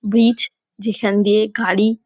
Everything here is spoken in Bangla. ব্রিজ যেখান দিয়ে গাড়ি--